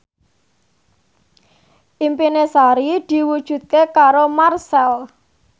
impine Sari diwujudke karo Marchell